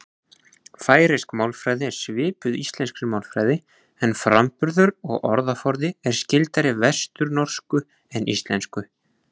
Færeysk málfræði er svipuð íslenskri málfræði en framburður og orðaforði er skyldari vesturnorsku en íslensku.